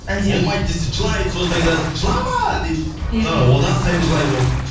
әлде болмайды десе жылайды сосын айтады жылама дейді одан сайын жылайды ол